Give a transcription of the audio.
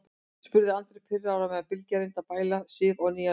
spurði Andri pirraður á meðan Bylgja reyndi að bæla Sif á nýjan leik.